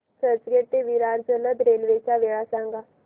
चर्चगेट ते विरार जलद रेल्वे च्या वेळा सांगा